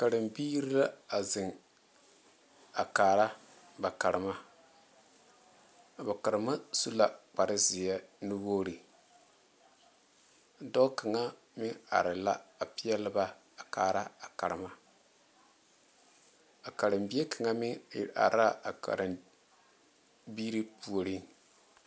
Karembiiri la a zeŋ a kaara ba karema a ba karema su la kpare zeɛ nuwogiri dɔɔ kaŋa meŋ kaare la peɛle ba a kaara a karema a karembie kaŋa meŋ iri are la a karembiiri puori